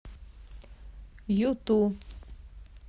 юту